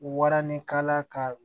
Waranikala ka